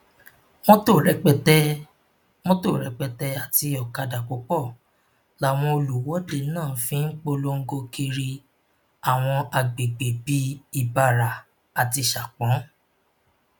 mọtò rẹpẹtẹ mọtò rẹpẹtẹ àti ọkadà púpọ làwọn olùwọde náà fi ń polongo kiri àwọn àgbègbè bíi ibara àti sapon